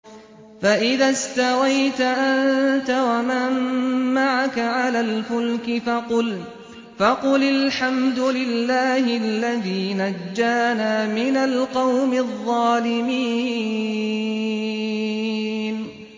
فَإِذَا اسْتَوَيْتَ أَنتَ وَمَن مَّعَكَ عَلَى الْفُلْكِ فَقُلِ الْحَمْدُ لِلَّهِ الَّذِي نَجَّانَا مِنَ الْقَوْمِ الظَّالِمِينَ